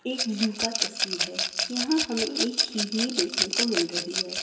एक ज़ू का तस्वीर है यहाँ हमे एक हिरणी देखने को मिल रही है|